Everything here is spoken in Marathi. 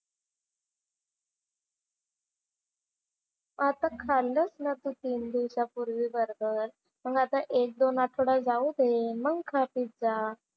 आता खाल्लंस ना तू तीन दिवसापूर्वी बर्गर. मग आता एक-दोन आठवडा जाऊ दे. मग खा पिझ्झा.